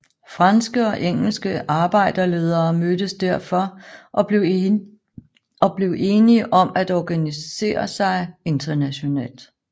Franske og engelske arbejderledere mødtes derfor og blev enige om at organiser sig internationalt